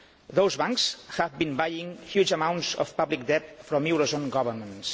Those banks have been buying huge amounts of public debt from euro zone governments.